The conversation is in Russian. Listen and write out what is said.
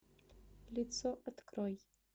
лицо открой